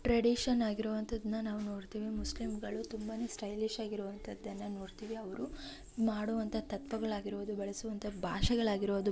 tradition ಆಗಿರುವಂತದನ್ನ ನಾವು ನೋಡ್ತೀವಿ ಮುಸ್ಲಿಂಗಳು ತುಂಬಾನೇ ಸ್ಟೈಲಿಶ್ ಆಗಿರುವಂತದ್ದನ್ನ ನೋಡ್ತೀವಿ ಅವರು ಮಾಡುವಂತಹ ತತ್ವಗಳು ಆಗಿರಬಹುದು ಬಳಸುವಂತ ಭಾಷೆಗಳು ಆಗಿರಬಹುದು --